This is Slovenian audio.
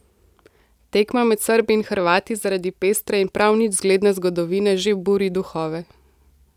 Tekma med Srbi in Hrvati zaradi pestre in prav nič zgledne zgodovine že buri duhove.